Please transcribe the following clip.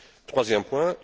Troisième point.